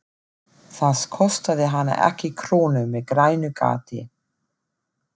Það kostaði hana ekki krónu með grænu gati.